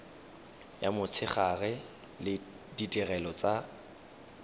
ya motshegare le ditirelo tsa